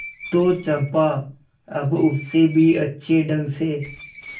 तो चंपा अब उससे भी अच्छे ढंग से